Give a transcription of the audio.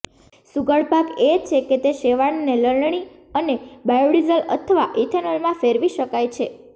સુઘડ ભાગ એ છે કે તે શેવાળને લણણી અને બાયોડિઝલ અથવા ઇથેનોલમાં ફેરવી શકાય છે